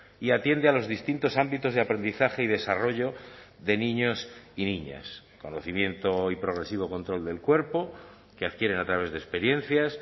y atiende a los distintos ámbitos de aprendizaje y desarrollo de niños y niñas conocimiento y progresivo control del cuerpo que adquieren a través de experiencias